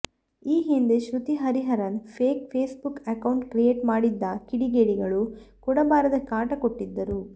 ಈ ಹಿಂದೆ Shruti Hariharan fake Facebook account create ಮಾಡಿದ್ದ ಕಿಡಿಗೇಡಿಗಳು ಕೊಡಬಾರದ ಕಾಟ ಕೊಟ್ಟಿದ್ದರು